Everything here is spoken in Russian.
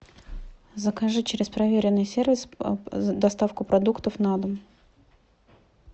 закажи через проверенный сервис доставку продуктов на дом